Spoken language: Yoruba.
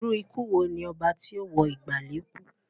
Irú ikú wo ni oba tí ó wo ìgbàlè kúú?